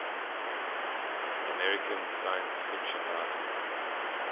american science fiction writers